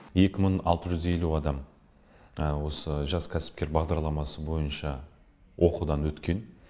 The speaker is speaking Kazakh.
екі мың алты жүз елу адам осы жас кәсіпкер бағдарламасы бойынша оқудан өткен